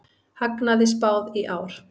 Hagnaði spáð í ár